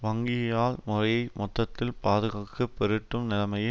வங்கியியால் முறையை மொத்தத்தில் பாதுகாக்கு பெருட்டு நிலைமையை